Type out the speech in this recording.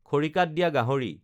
খৰিকাত দিয়া গাহৰি